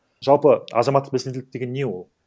жалпы азаматтық белсенділік деген не ол